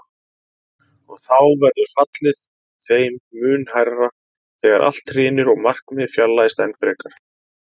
Og þá verður fallið þeim mun hærra þegar allt hrynur og markmiðið fjarlægist enn frekar.